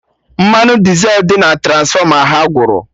Mmanụ Dizel dị na Transfọma ha gwụrụ